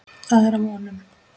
Það er að vonum.